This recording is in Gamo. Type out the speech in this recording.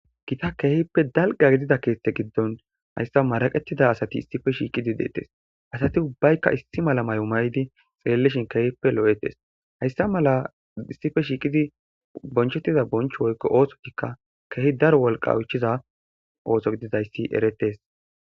gita keehippe dalga gidida keette giddon hayissa maraqettida asati issippe shiiqidi deettes asati ubbaykka issi mala mayo mayidi xellishshin keehippe lo7ettes .hayssa mala issippe shiiqidi bonchettiza bonchcho woykko ooththotikka keehi daro wolqqa oyichiza ooso gididayssi erettes.